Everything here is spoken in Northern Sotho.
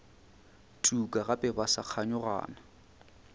tuka gape ba sa kganyogana